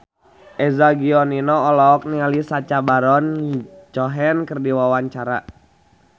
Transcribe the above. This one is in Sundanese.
Eza Gionino olohok ningali Sacha Baron Cohen keur diwawancara